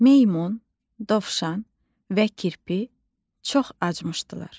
Meymun, dovşan və kirpi çox acımışdılar.